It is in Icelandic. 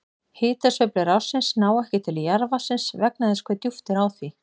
Hitasveiflur ársins ná ekki til jarðvatnsins vegna þess hve djúpt er á því.